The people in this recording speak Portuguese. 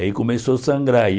Aí começou a sangrar. Aí